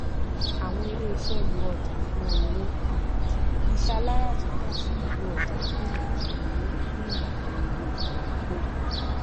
àwọn iléiṣẹ lo ọjà fún owó um iṣẹ aláràtúntà sì nílò ọjà fún ìlànaa owó fún ìlànaa owó ìdókówò